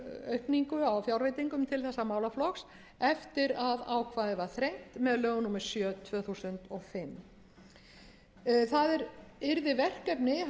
aukningu á fjárveitinga til þessa málaflokks eftir að ákvæðið var þrengt með lögum númer sjö tvö þúsund og fimm það yrði verkefni